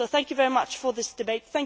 So thank you very much for this debate.